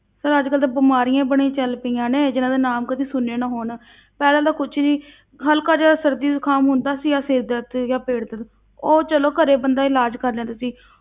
Sir ਅੱਜ ਕੱਲ੍ਹ ਤੇ ਬਿਮਾਰੀਆਂ ਬੜੀਆਂ ਚੱਲ ਪਈਆਂ ਨੇ, ਜਿੰਨਾਂ ਦੇ ਨਾਮ ਕਦੇ ਸੁਣੇ ਨਾ ਹੋਣ ਪਹਿਲਾਂ ਤਾਂ ਕੁਛ ਨੀ ਹਲਕਾ ਜਿਹਾ ਸਰਦੀ ਜੁਕਾਮ ਹੁੰਦਾ ਸੀ, ਆਹ ਸਿਰ ਦਰਦ ਜਾਂ ਪੇਟ ਦਰਦ, ਉਹ ਚਲੋ ਘਰੇ ਬੰਦਾ ਇਲਾਜ਼ ਕਰ ਲੈਂਦਾ ਸੀ।